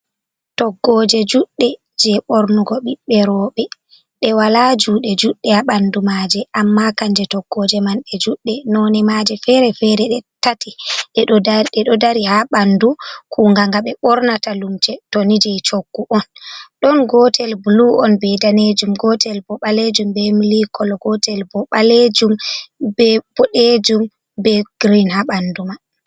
Toggooje juuɗɗe je ɓornugo ɓiɓɓe roɓe, ɗe walaa juuɗe juuɗɗe haa ɓandu maaje, amma kanje toggooje man ɗe juuɗɗe, noone maaje fere-fere ɗe tati ɗe ɗo dari haa ɓandu kuunga nga ɓe ɓornata limse toni je choggu on, ɗon gootel bulu on be daneejum, gootel bo ɓaleejum be milik kolo, gootel bo boɗejum be girin ha ɓandu man.